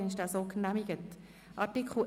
Regierungsrat/SiKMehrheit gegen Antrag